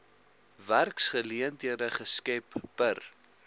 werksgeleenthede geskep per